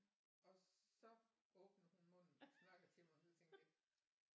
Og så åbner hun munden og snakker til mig og så tænkte jeg